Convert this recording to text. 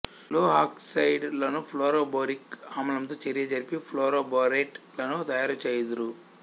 లోహఆక్సైడ్ లను fluoroboric ఆమ్లంతో చర్య జరిపి ఫ్లోరోబోరేట్ లను తయారు చేయుదురు